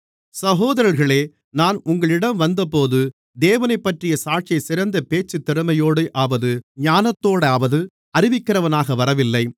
சகோதரர்களே நான் உங்களிடம் வந்தபோது தேவனைப்பற்றிய சாட்சியைச் சிறந்த பேச்சுத் திறமையோடாவது ஞானத்தோடாவது அறிவிக்கிறவனாக வரவில்லை